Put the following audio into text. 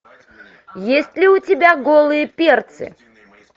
есть ли у тебя голые перцы